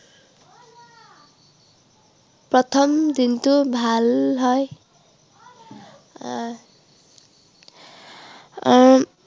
প্ৰথম দিনটো ভাল হয় আহ আহ উম